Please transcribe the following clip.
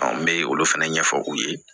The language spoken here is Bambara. n bɛ olu fɛnɛ ɲɛfɔ u ye